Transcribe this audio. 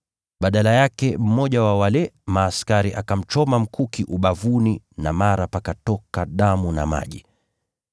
Badala yake mmoja wa wale askari akamchoma mkuki ubavuni na mara pakatoka damu na maji.